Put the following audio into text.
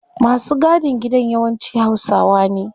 Masu gadin gida yawanci hausawa ne